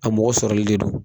A mɔgɔ sɔrɔli de don.